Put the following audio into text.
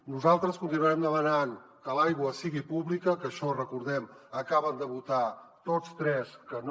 nosaltres continuarem demanant que l’aigua sigui pública que en això recordem ho acaben de votar tots tres que no